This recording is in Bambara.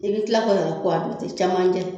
I bɛ tila ka tɛ camancɛ